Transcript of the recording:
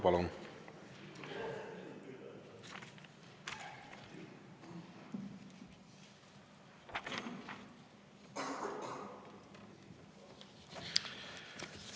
Palun!